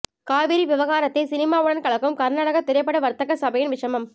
காவிரி விவகாரத்தை சினிமாவுடன் கலக்கும் கர்நாடகா திரைப்பட வர்த்தக சபையின் விஷமம்